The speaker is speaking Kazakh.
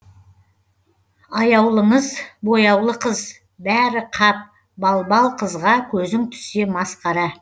аяулыңыз бояулы қыз бәрі қап балбал қызға көзің түссе масқара